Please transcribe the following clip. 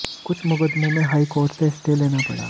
कुछ मुकदमों में हाई कोर्ट से स्टे लेना पड़ा